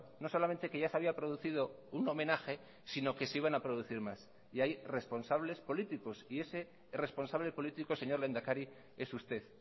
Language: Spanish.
no solamente que ya se había producido un homenaje sino que se iban a producir más y hay responsables políticos y ese responsable político señor lehendakari es usted